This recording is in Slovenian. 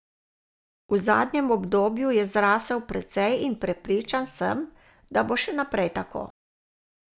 V zadnjem obdobju je zrasel precej in prepričan, sem, da bo še naprej tako.